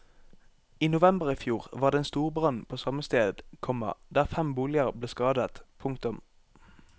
I november i fjor var det en storbrann på samme sted, komma der fem boliger ble skadet. punktum